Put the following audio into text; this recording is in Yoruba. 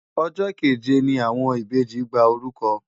Ọjọ́ keje ni àwọn ìbejì gba orúkọ.